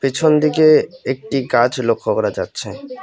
পিছন দিকে একটি গাছ লক্ষ্য করা যাচ্ছে।